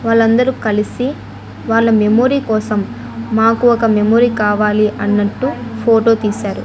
వాళ్ళందరూ కలిసి వాళ్ళ మెమొరీ కోసం మాకు ఒక మెమొరీ కావాలి అన్నట్టు ఫోటో తీశారు.